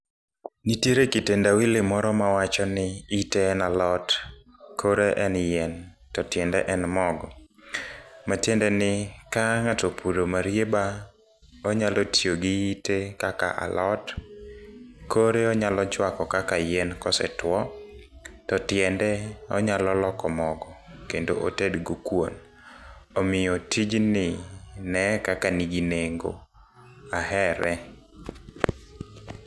Nitiere kitendawili moro mawachoni, ite en alot, kore en yien, to tiende en mogo. Matiendeni ka ng'ato opuro marieba, onyalo tiyo gi ite kaka alot. kore onyalo chwako kaka yien kosetuwo, to tiende onyalo loko mogo kendo otedgo kuom. Omiyo tijni ne e kaka nigi nengo. Ahere.